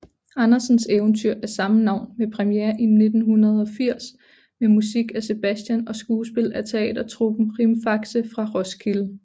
Andersens eventyr af samme navn med premiere i 1980 med musik af Sebastian og skuespil af teatertruppen Rimfaxe fra Roskilde